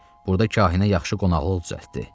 Burda kahinə yaxşı qonaqlıq düzəltdi.